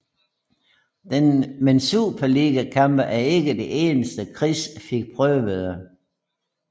Men superliga kampe er ikke det eneste Chris fik prøvede